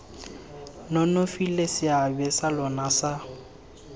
nonofile seabe sa lona sa